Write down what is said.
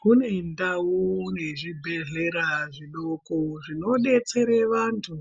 Kune ndau yezvibhehleya zvidoko zvinodetsere vanhu